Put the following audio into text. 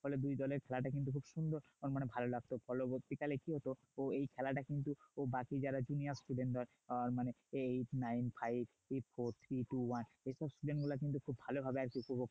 হলে দুই দলের খেলা টা কিন্তু খুব সুন্দর মানে ভালো লাগতো পরবর্তীকালে কি হতো ও এই খেলাটা কিন্তু ও বাকি যারা junior student এরা আহ মানে এই eight nine five foue three two one এই student গুলো কিন্তু খুব ভালোভাবে